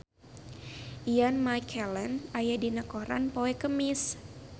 Ian McKellen aya dina koran poe Kemis